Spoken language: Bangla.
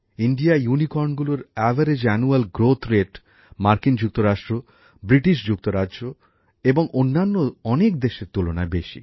ভারতের ইউনিকর্নগুলোর বার্ষিক বৃদ্ধির গড় হার মার্কিন যুক্তরাষ্ট্র বৃটেন এবং অন্যান্য অনেক দেশের তুলনায় বেশি